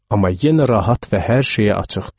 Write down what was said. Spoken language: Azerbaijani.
Amma yenə rahat və hər şeyə açıqdı.